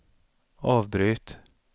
avbryt